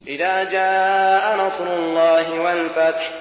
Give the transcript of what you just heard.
إِذَا جَاءَ نَصْرُ اللَّهِ وَالْفَتْحُ